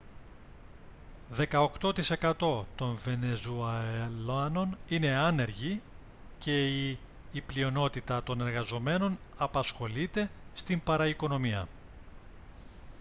δεκαοκτώ τοις εκατό των βενεζουελάνων είναι άνεργοι και οι η πλειονότητα των εργαζομένων απασχολείται στην παραοικονομία